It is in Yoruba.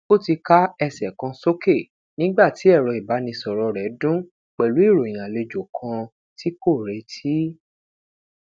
o ti ka ẹsẹ kan soke nigba ti ẹrọ ibanisọrọ rẹ dun pẹlu iroyin alejo kan ti ko reti